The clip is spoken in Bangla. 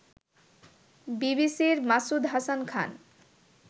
বিবিসির মাসুদ হাসান খান